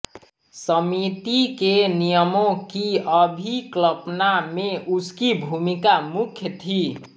समिति के नियमों की अभिकल्पना में उसकी भूमिका मुख्य थी